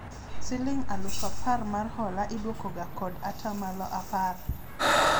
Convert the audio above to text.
siling alufu apar mar hola idwoko ga kod atamalo apar